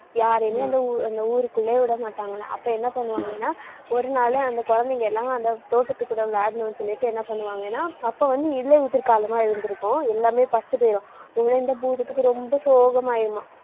யாரையுமே அந்த ஊ~ அந்த ஊருக்குள்ளேயே விடமாட்டாங்களாம் அப்ப என்ன பண்ணுவாங்கன்னா ஒரு நாளு அந்த குழந்தைங்க எல்லாம், அந்த தோட்டத்துக்குள்ள விளையாடணும்னு சொல்லிட்டு என்ன பண்ணுவாங்கன்னா அப்ப வந்து இலையுதிர்காலமா இருந்திருக்கும். எல்லாமே பட்டு போயிரும். உடனே இந்த பூதத்துக்கு ரொம்ப சோகமாயிடுமாம்